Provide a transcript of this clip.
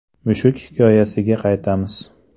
Mushuk hikoyasiga qaytamiz.